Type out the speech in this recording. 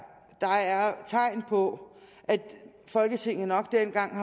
tegn på at folketinget nok dengang